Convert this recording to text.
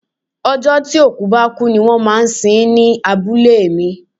Ọjọ́ tí òkú bá kú ní wón ń sin ń ní abúlé mi.